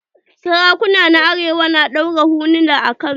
Sarakuna na arewa na ɗaura huluna a kan su.